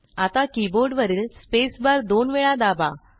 आता की बोर्डवरील स्पेस बार दोन वेळा दाबा